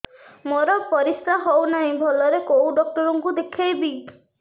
ମୋର ପରିଶ୍ରା ହଉନାହିଁ ଭଲରେ କୋଉ ଡକ୍ଟର କୁ ଦେଖେଇବି